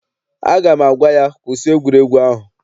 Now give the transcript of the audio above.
Aga m agwa ya, kwụsị egwuregwu ahụ!